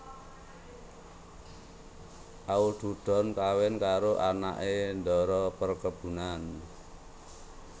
Aududon kawin karo anake ndara perkebunan